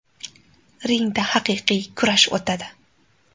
Ringda haqiqiy kurash o‘tadi.